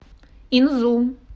инзу